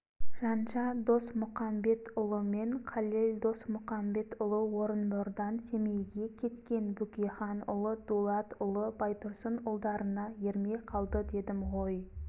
жанша досмұқамбетұлы мен қалел досмұқамбетұлы орынбордан семейге кеткен бөкейханұлы дулатұлы байтұрсынұлдарына ермей қалды дедім ғой